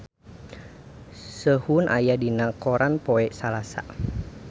Sehun aya dina koran poe Salasa